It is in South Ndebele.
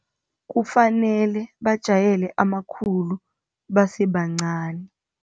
Kufanele bajayele amakhulu basebancani.